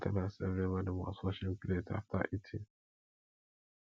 mama tell us say everybodi must wash im plate after eating